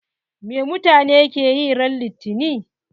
Me mutane ke yi ran litani?